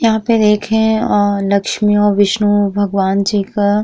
यहाँ पे देखें आं लक्ष्मी और विष्णु भगवान जी का --